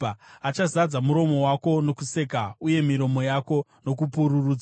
Achazadza muromo wako nokuseka uye miromo yako nokupururudza.